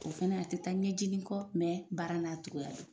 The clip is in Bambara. O fɛnɛ a te taa ɲɛjinin kɔ mɛ baara n'a togoya don